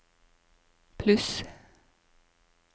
pluss